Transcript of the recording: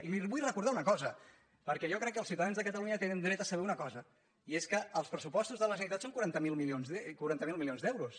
i li vull recordar una cosa perquè jo crec que els ciuta·dans de catalunya tenen dret a saber una cosa i és que els pressupostos de la generalitat són quaranta miler milions d’euros